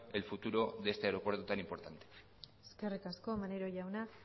el futuro de este aeropuerto tan importante eskerrik asko maneiro jauna